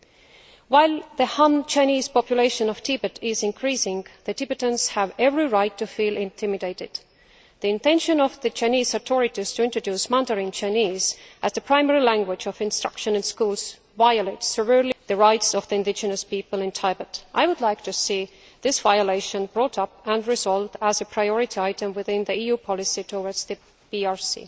As long as the Han Chinese population of Tibet is increasing, the Tibetans have every right to feel intimidated. The intention of the Chinese authorities to introduce Mandarin Chinese as the primary language of instruction in schools violates the rights of the indigenous people of Tibet. I would like to see that violation brought up and resolved as a priority item within EU policy towards the PRC.